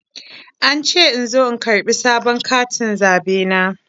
An ce in zo in karɓi sabon katin zaɓe na.